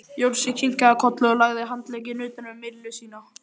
Jónsi kinkaði kolli og lagði handlegginn utan um Millu sína.